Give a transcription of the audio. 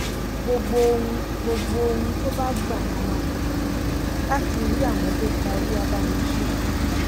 gbogbo ohun gbogbo ohun tó bá gbà la máa fún un láti rí àwọn tó pa olúwàbàmíṣẹ́